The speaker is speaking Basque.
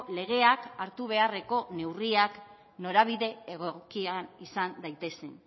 legeak hartu beharreko neurriak norabide egokian izan daitezen